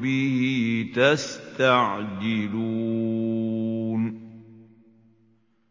بِهِ تَسْتَعْجِلُونَ